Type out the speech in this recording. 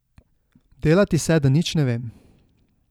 Delati se, da nič ne vem.